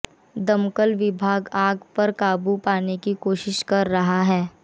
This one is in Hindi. दमकल विभाग आग पर काबू पाने की कोशिश कर रहा है